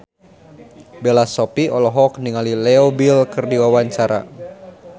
Bella Shofie olohok ningali Leo Bill keur diwawancara